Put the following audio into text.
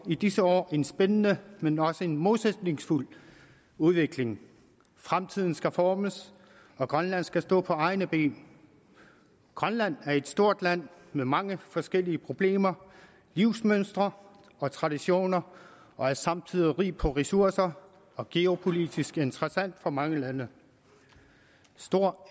i disse år en spændende men også modsætningsfyldt udvikling fremtiden skal formes og grønland skal stå på egne ben grønland er et stort land med mange forskellige problemer livsmønstre og traditioner og er samtidig rigt på ressourcer og geopolitisk interessant for mange lande stor